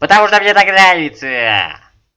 потому что мне так нравится